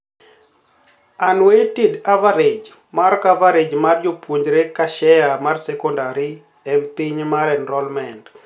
Unweighted average mar coverage mar jopuonjre ka share mar secondary m piny mar enrollment.